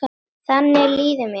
Þannig líður mér.